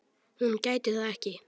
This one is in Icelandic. Hún gæti það ekki.